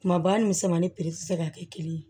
Kumaba ni misɛnmani piri tɛ se ka kɛ kelen ye